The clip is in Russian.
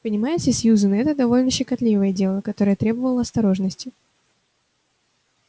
понимаете сьюзен это довольно щекотливое дело которое требовало осторожности